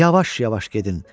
Yavaş-yavaş gedin.